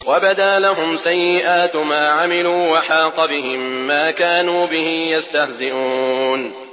وَبَدَا لَهُمْ سَيِّئَاتُ مَا عَمِلُوا وَحَاقَ بِهِم مَّا كَانُوا بِهِ يَسْتَهْزِئُونَ